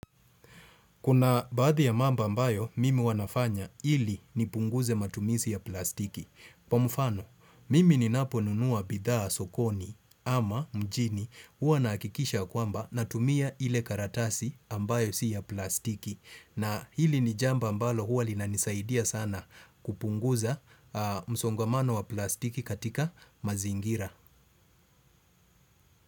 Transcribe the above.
Kuna baadhi ya mambo ambayo, mimi huwa nafanya ili nipunguze matumizi ya plastiki. Kwa mfano, mimi ninaponunua bidhaa sokoni ama mjini huwa nahakikisha ya kwamba natumia ile karatasi ambayo si ya plastiki. Na hili ni jambo ambalo huwa linanisaidia sana kupunguza msongamano wa plastiki katika mazingira.